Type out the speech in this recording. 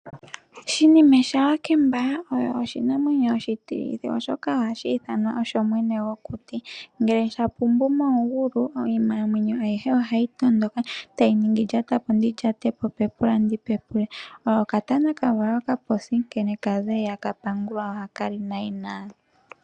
Shinime shaWakemba, oyo oshinamwenyo. oshitilithi , oshoka oha yi ithanwa osho mwene gwokuti. Ngele sha pumbu momugulu, iinamwenyo ayihe oha yi tondoka, ta yi ningi lyata po, ndi llyate po, pepula ndi pepule. Oyo okatana ka valwa okaposi nkene ka za iha ka pangulwa, oha ka li nayina.